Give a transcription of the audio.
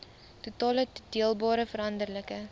totale toedeelbare veranderlike